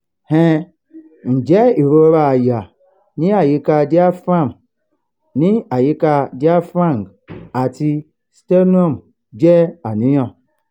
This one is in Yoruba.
um njẹ irora àyà ni ayika diaphragm ni ayika diaphragm ati sternum je àníyàn?